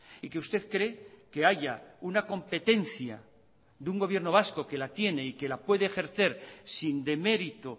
y que usted cree que haya una competencia de un gobierno vasco que la tiene y que la puede ejercer sin demérito